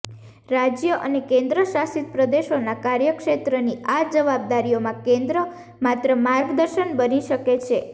રાજય અને કેન્દ્ર શાસિત પ્રદેશોના કાર્યક્ષેત્રની આ જવાબદારીઓમાં કેન્દ્ર માત્ર માર્ગદર્શક બની શકે છે